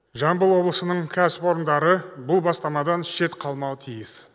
жамбыл облысының кәсіпорындары бұл бастамадан шет қалмауы тиіс